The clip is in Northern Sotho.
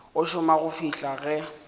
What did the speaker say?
a šoma go fihla ge